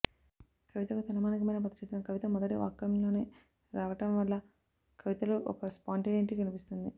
కవితకు తలమానికమైన పదచిత్రం కవిత మొదటి వాక్యంలోనే రావటంవల్ల కవితలో ఒక స్పాంటేనిటీ కనిపిస్తుంది